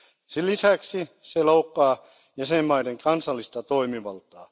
Sen lisäksi se loukkaa jäsenmaiden kansallista toimivaltaa.